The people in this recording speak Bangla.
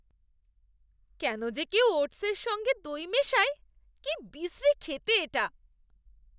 কেন যে কেউ ওটস্‌এর সঙ্গে দই মেশায়? কি বিশ্রী খেতে এটা।